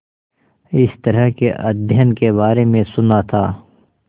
इस तरह के अध्ययन के बारे में सुना था